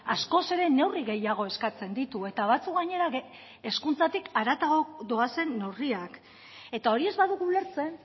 askoz ere neurri gehiago eskatzen ditu eta batzuk gainera hezkuntzatik haratago doazen neurriak eta hori ez badugu ulertzen